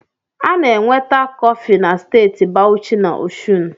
A na-enweta kọfị na Steeti Bawuchi na Ọshụn